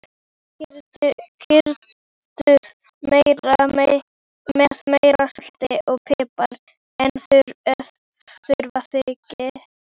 Kryddið með meira salti og pipar ef þurfa þykir.